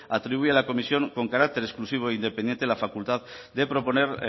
atribuye a la comisión con carácter exclusivo e independiente la facultad de proponer